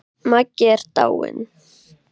Maggi er dáinn!